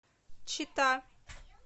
чита